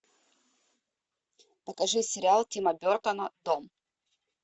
покажи сериал тима бертона дом